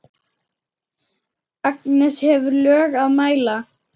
Agnes hefur lög að mæla.